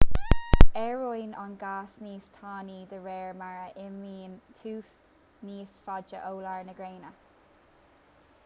éiríonn an gás níos tanaí de réir mar a imíonn tú níos faide ó lár na gréine